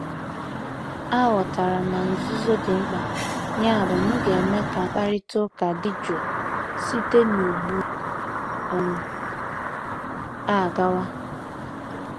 Aghọtara m na nzuzo dị mkpa, yabụ m ga-eme ka mkparịta ụka dị jụụ site ugbu um a gawa.